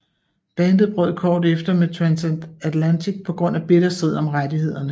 Bandet brød kort efter med Transatlantic på grund af bitter strid om rettighederne